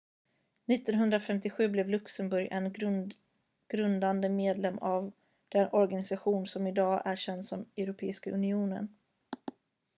1957 blev luxemburg en grundande medlem av den organisation som idag är känd som europeiska unionen